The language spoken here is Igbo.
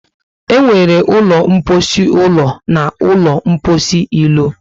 E nwere ụlọ mposi ụlọ na ụlọ mposi ilo